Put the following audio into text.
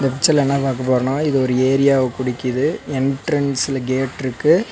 பிச்சர்ல என்ன பாக்க போரோனா இது ஒரு ஏரியாவ குடிக்கிது எண்ட்ரன்ஸ்ல கேட்ருக்கு .